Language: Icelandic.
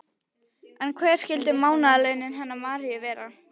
En hver skyldu mánaðarlaunin hennar Maríu vera?